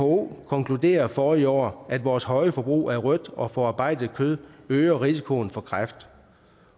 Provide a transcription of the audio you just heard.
who konkluderede forrige år at vores høje forbrug af rødt og forarbejdet kød øger risikoen for kræft